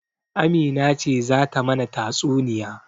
Amina ce zata mana tatsuniya.